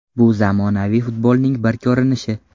Bu zamonaviy futbolning bir ko‘rinishi.